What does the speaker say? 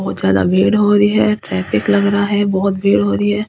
बहुत ज्यादा भीड़ हो रही है ट्रैफिक लग रहा है बहुत भीड़ हो रही है।